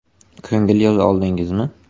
Ko‘ngil yoza oldingizmi?”.